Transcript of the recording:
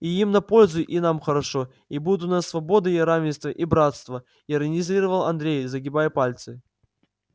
и им на пользу и нам хорошо и будут у нас свобода и равенство и братство иронизировал андрей загибая пальцы